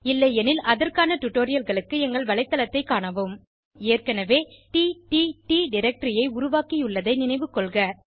இல்லையெனில் அதற்கான டுடோரியல்களுக்கு எங்கள் வலைத்தளத்தைக் காணவும் ஏற்கனவே டிடிடி டைரக்டரி ஐ உருவாக்கியுள்ளதை நினைவுகொள்க